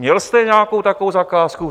Měl jste nějakou takovou zakázku?